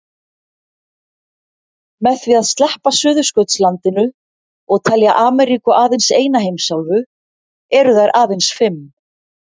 Með því að sleppa Suðurskautslandinu og telja Ameríku aðeins eina heimsálfu eru þær aðeins fimm.